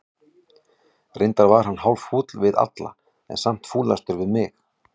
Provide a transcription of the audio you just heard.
Reyndar var hann hálffúll við alla, en samt fúlastur við mig.